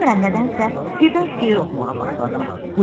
Bilmirəm nədənsə birdən şeir oxumağa başladım.